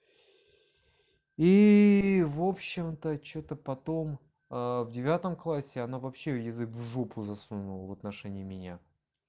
и в общем-то что-то потом в девятом классе она вообще язык в жопу засунула в отношении меня